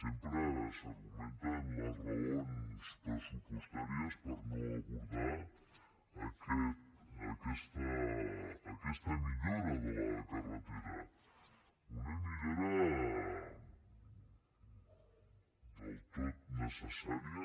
sempre s’argumenten les raons pressupostàries per no abordar aquesta millora de la carretera una millora del tot necessària